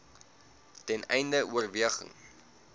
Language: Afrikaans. ten einde oorweging